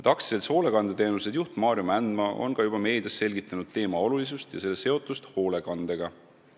AS-i Hoolekandeteenused juht Maarjo Mändmaa on ka meedias selgitanud teema olulisust ja selle seotust hoolekandega.